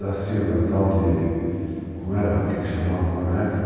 Da Silva, tal de... como era que eles chamavam lá na época?